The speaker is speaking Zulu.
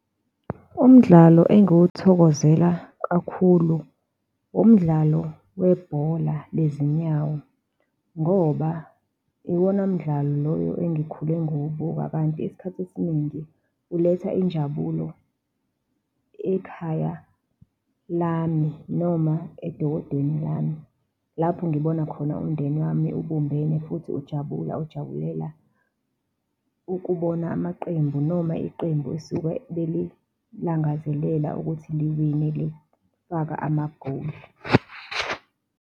Umdlalo engiwuthokozela kakhulu umdlalo webhola lezinyawo, ngoba iwona mdlalo engikhule ngiwubuka kanti isikhathi esiningi uletha injabulo ekhaya lami noma edokodweni lami lapho ngibona khona umndeni wami ebumbene futhi ujabula ujabulela ukubona amaqembu noma iqembu esuke belilangazelele ukuthi liwinile, lifaka amagoli.